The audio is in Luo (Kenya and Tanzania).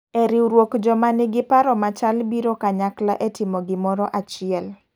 E riwruok joma nigi paro machal biro kanykla e timo gimoro achiel.